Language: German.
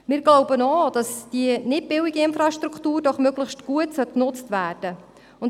Wir glauben auch, dass diese doch nicht billige Infrastruktur möglichst gut genutzt werden soll.